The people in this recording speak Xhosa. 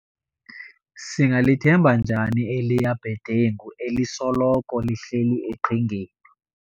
Singalithemba njani eliya bhedengu elisoloko lihleli eqhingeni.